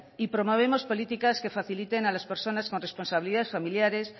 y promovemos políticas que faciliten a las personas con responsabilidades familiares